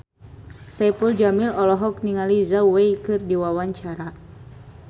Saipul Jamil olohok ningali Zhao Wei keur diwawancara